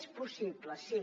és possible sí